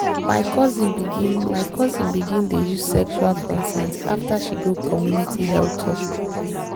my cousin begin my cousin begin dey use sexual consent after she go community health talk.